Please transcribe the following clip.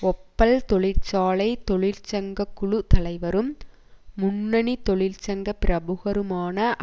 ஒப்பல் தொழிற்சாலை தொழிற்சங்ககுழு தலைவரும் முன்னணி தொழிற்சங்க பிரபுகருமான